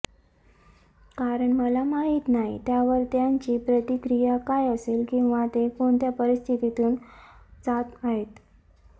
कारण मला माहीत नाही त्यावर त्यांची प्रतिक्रिया काय असेल किंवा ते कोणत्या परिस्थितीतून जात आहेत